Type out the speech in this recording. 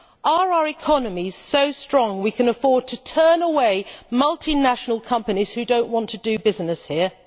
Are our economies so strong that we can afford to turn away multinational companies, who may not want to do business here?